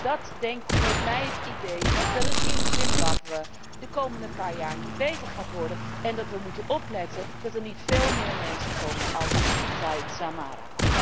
Dat geeft mij het idee dat het in Zimbabwe de komende paar jaar niet beter gaat worden en dat we moeten opletten dat er niet veel meer mensen komen als Itai Dzamara.